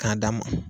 K'a d'a ma